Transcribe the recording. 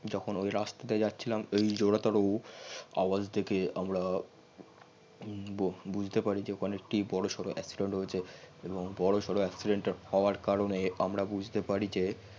যখন ওই রাস্তা দিয়ে জাচ্ছিলাম অই আওয়াজ দেখে আমরা বুঝতে পারি যে ওখানে একটি হয়েছে এবং accident হউয়ার কারনে আমরা বুঝতে পারি যে